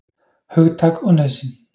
Hugtak og nauðsyn.